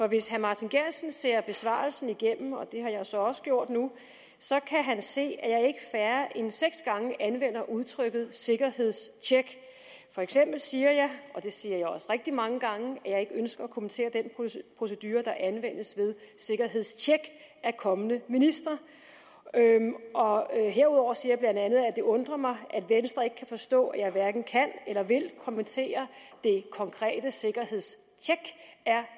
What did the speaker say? hvis herre martin geertsen ser besvarelsen igennem og det har jeg så også gjort nu så kan han se at jeg færre end seks gange anvender udtrykket sikkerhedstjek for eksempel siger jeg og det siger jeg også rigtig mange gange at jeg ikke ønsker at kommentere den procedure der anvendes ved sikkerhedstjek af kommende ministre herudover siger jeg bla at det undrer mig at venstre ikke kan forstå at jeg hverken kan eller vil kommentere det konkrete sikkerhedstjek af